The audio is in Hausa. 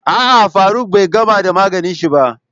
A'a, Faruk bai gamar da maganin shi ba.